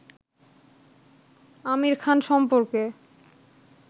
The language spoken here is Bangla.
আমির খান সম্পর্কে